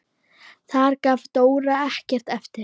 Þar gaf Dóra ekkert eftir.